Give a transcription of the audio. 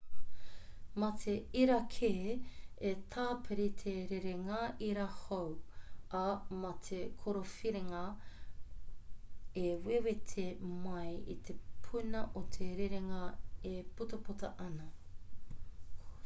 mā te irakē e tāpiri te rerenga ira hou ā mā te kōwhiringa e wewete mai i te puna o te rerenga e putaputa ana